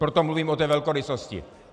Proto mluvím o té velkorysosti.